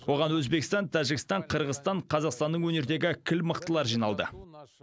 оған өзбекстан тәжікстан қырғызстан қазақстанның өнердегі кіл мықтылары жиналды